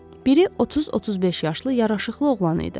Biri 30-35 yaşlı yaraşıqlı oğlan idi.